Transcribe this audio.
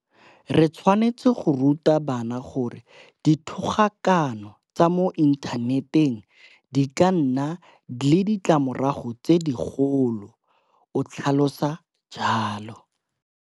Re tshwanetse go ruta bana gore dithogakano tsa mo inthaneteng di ka nna le ditlamorago tse digolo, o tlhalosa jalo.